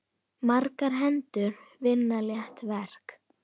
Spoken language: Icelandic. Margar hendur vinna létt verk.